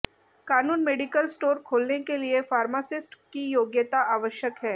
कानून medical store खोलने के लिए फार्मासिस्ट की योग्यता आवश्यक है